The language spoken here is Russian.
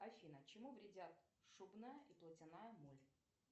афина чему вредят шубная и платяная моль